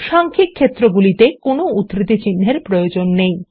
সাংখ্যিক ক্ষেত্রগুলিতে কোনো উদ্ধৃতি চিহ্ন এর প্রয়োজন নেই